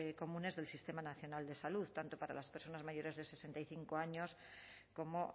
comunes del sistema nacional de salud tanto para las personas mayores de sesenta y cinco años como